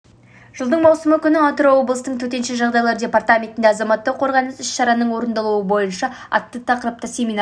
жылдың маусым күні атырау облысының төтенше жағдайлар департаментінде азаматтық қорғаныс іс-шараларының орындалуы бойынша атты тақырыпта семинар